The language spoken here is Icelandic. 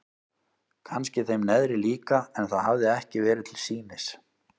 Kannski þeim neðri líka en það hafði ekki verið til sýnis.